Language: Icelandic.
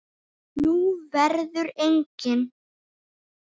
Nú verður engin.